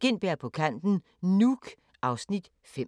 Gintberg på kanten - Nuuk (Afs. 5)*